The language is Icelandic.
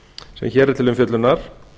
sem hér er til umfjöllunar